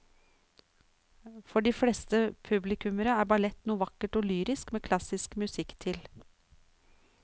For de fleste publikummere er ballett noe vakkert og lyrisk med klassisk musikk til.